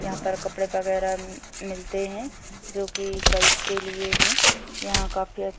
यहाँ पर कपड़े-वगेरा मिलते है जो की गर्ल्स के लिए है यहाँ काफी अच्छा--